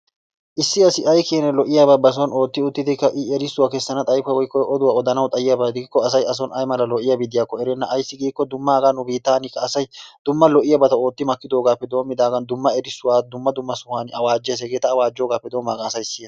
Issi assi aykenna lo'oiyaba ba soon ottii wottiddi i erisuwaa kesanna xayikko wotko oduwaa odanawu xayikko assay asoni ay maala lo'iyabbi de'iyakkonne assi errena aysi gikko dumma haga nu bittanikka asay dumma lo'iyaabbatta ottimakidogappe domidagan, dumma erisuwa, dumma dumma sohuwan awajjees, hegetta awajjogappe domidagan asay siyanna.